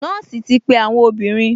Nọ́ọ̀sì ti pe àwọn obìnrin